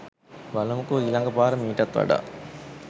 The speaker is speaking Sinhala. බලමුකෝ ඊලග පාර මීටත් වඩා